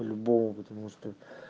по-любому потому что